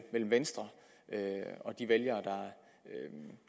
venstre og de vælgere